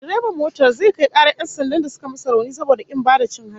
Direban babbar motar zai kai karar 'yan sandan da suka masa rauni saboda kin ba da cin hanci